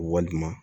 Walima